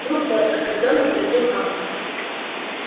друг мой оскорбленно возразил хан